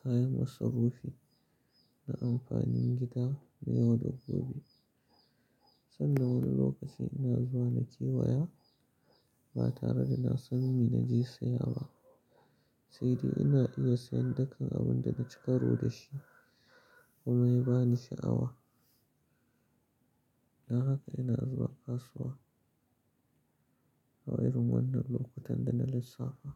kayan masarufi na amfanin gida na yau da gobe. Sannan wani lokaci ina zuwa na kewaya ba tare da na san me na je siya ba, sai dai ina iya siyan dakan abun da na cika ro da shi kuma ya ba ni sha’awa. Don haka ina zuwa kasuwa a irin wannan lokutan da na lissafta.